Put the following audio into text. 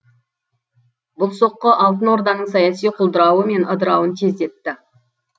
бұл соққы алтын орданың саяси құлдырауы мен ыдырауын тездетті